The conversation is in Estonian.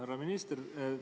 Härra minister!